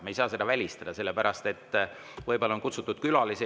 Me ei saa seda välistada, sest võib-olla on istungile kutsutud külalisi.